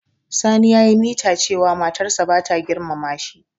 Sani ya yi mita cewa matar sa bata girmama shi.